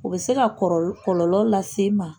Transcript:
U bɛ se ka kɔrɔ kɔlɔlɔ lase i ma.